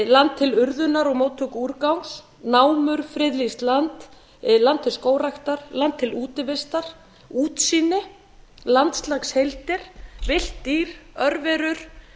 land til urðunar og móttöku úrgangs námur friðlýst land land til skógræktar land til útivistar útsýni landslagsheildir villt dýr örverur